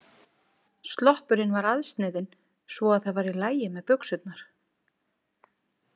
Sloppurinn var aðsniðinn svo það var í lagi með buxurnar.